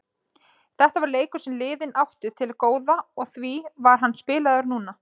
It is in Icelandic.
Þetta var leikur sem liðin áttu til góða og því var hann spilaður núna.